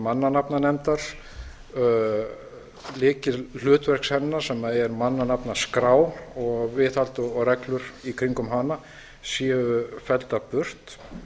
mannanafnanefndar lykilhlutverks hennar sem er mannanafnaskrá og viðhald og reglur í kringum hana séu felldar burt